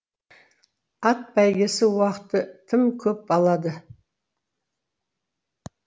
ат бәйгесі уақытты тым көп алады